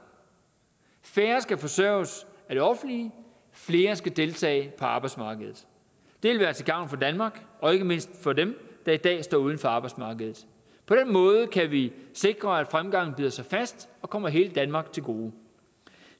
færre skal forsørges af det offentlige flere skal deltage på arbejdsmarkedet det vil være til gavn for danmark og ikke mindst for dem der i dag står uden for arbejdsmarkedet på den måde kan vi sikre at fremgangen bider sig fast og kommer hele danmark til gode